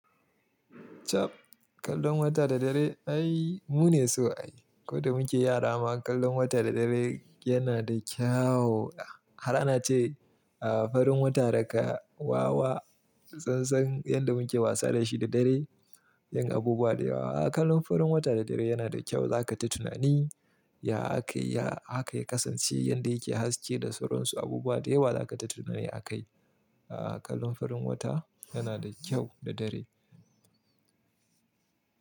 Chab, kallon wata da dare ai mu ne so ai. Ko da muke yara ma kallon wata da dare yana da kyawo nah har ana ce a farin wata daga wawa, sassan yanda muke wasa da shi da dare, yin abubuwa da yawa. A'a, kallon farin wata da dare yana da kyau, za ka ta tuna ni. Ya aka yi, ya haka ya kasance yanda yake haske da sauransu abubuwa da yawa za ka ta tuna ni a kai. A'a, kallon farin wata yana da kyau da dare.